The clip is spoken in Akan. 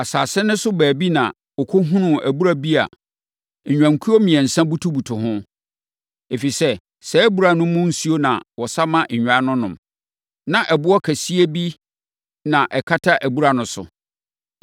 Asase no so baabi na ɔkɔhunuu abura bi a nnwankuo mmiɛnsa butubutu ho. Ɛfiri sɛ, saa abura no mu nsuo na wɔsa ma nnwan no nom. Na ɛboɔ kɛseɛ bi na ɛkata abura no so.